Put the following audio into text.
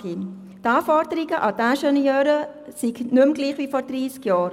Die Anforderungen an die Ingenieure seien nicht mehr gleich wie vor dreissig Jahren.